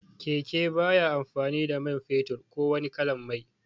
Keke baya amfani da man fetur ko wani kalan mai